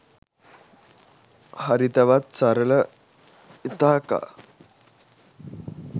හරිතවත් සරල ඉතාකා